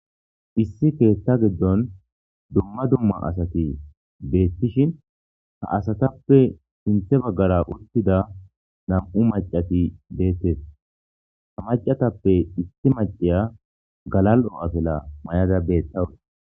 issi keethta giddon dumma dumma asati beettishin ha asatappe sinthe baggara uttida nam7u macati beettes ha macatappe issi maciya galal7o7atela may7ada beettawus